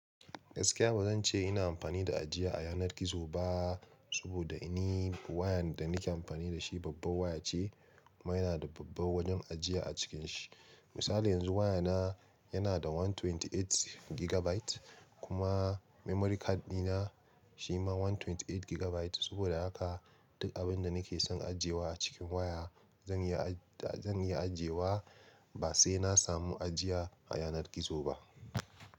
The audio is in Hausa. Gaskiya ba zan ce ina amfani da ajiya a yanar gizo ba, saboda ni wayan da nake amfani da shi babbar waya ce kuma yana da babbar wajen ajiya a cikin shi. Misali yanzu wayana yana da one twenty eight gigabyte kuma memory card dina shi ma one twenty eight gigabyte. Saboda haka duk abin da nake son ajiyewa a cikin waya zan yi, zan iya ajiyewa ba sai na samu ajiya a yanar gizo ba.